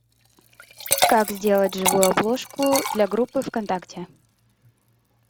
как сделать живую обложку для группы в контакте